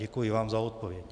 Děkuji vám za odpověď.